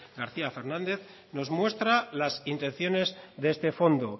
garcía fernández nos muestra las intenciones de este fondo